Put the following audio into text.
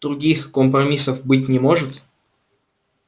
других компромиссов быть не может